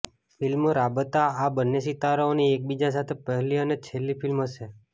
film Raabta આ બંને સિતારાઓની એકબીજા સાથે પહેલી અને છેલ્લી ફિલ્મ હશે